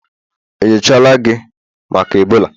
enyochala gi maka Ebola?